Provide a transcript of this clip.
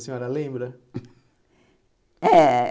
A senhora lembra? É